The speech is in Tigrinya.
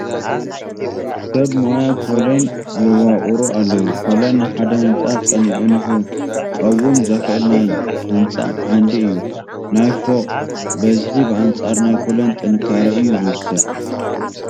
ሰብ ሞያ ኮለን የዋቕሩ ኣለዉ፡፡ ኮለን ንሓደ ህንፃ ፀኒዑ ንኽቐውም ዘኽእል ናይ ህንፃ ዓንዲ እዩ፡፡ ናይ ፎቕ ብዝሒ ብኣንፃር ናይ ኮለን ጥንካረ እዩ ዝውሰን፡፡